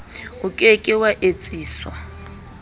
o ke ke wa etsiswa